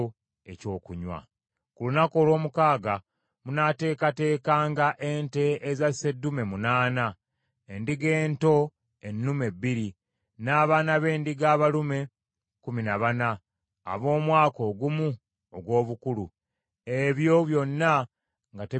“Ku lunaku olw’omukaaga munaateekateekanga ente eza sseddume munaana, endiga ento ennume bbiri, n’abaana b’endiga abalume kkumi na bana ab’omwaka ogumu ogw’obukulu, ebyo byonna nga tebiriiko kamogo.